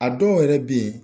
A dɔw yɛrɛ bɛ ye